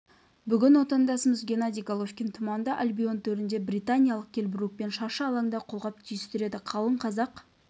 бүгін отандасымыз геннадий головкин тұманды альбион төрінде британиялық келл брукпен шаршы алаңда қолғап түйістіреді қалың қазақ